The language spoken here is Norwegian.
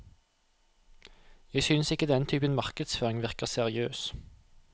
Jeg synes ikke denne typen markedsføring virker seriøs.